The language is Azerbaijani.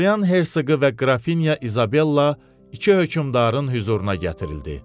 Orlean Hersoqu və Qrafinya İzabella iki hökmdarın hüzuruna gətirildi.